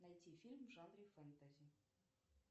найти фильм в жанре фэнтези